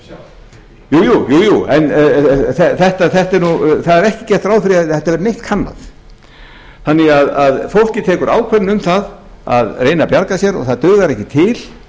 það tekur nú ákvarðanir sjálft jú jú en það er ekki gert ráð fyrir þetta er þannig að fólkið tekur ákvörðun um það að reyna að bjarga sér en það dugar ekki til